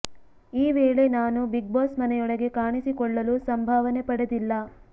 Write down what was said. ಈ ವೇಳೆ ನಾನು ಬಿಗ್ ಬಾಸ್ ಮನೆಯೊಳಗೆ ಕಾಣಿಸಿಕೊಳ್ಳಲು ಸಂಭಾವನೆ ಪಡೆದಿಲ್ಲ